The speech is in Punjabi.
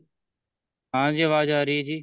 ਹਾਂਜੀ ਆਵਾਜ਼ ਆ ਰਹੀ ਹੈ ਜੀ